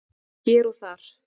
Hér og þar